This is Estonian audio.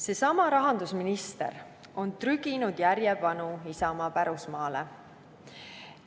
Seesama rahandusminister on trüginud järjepanu Isamaa pärusmaale.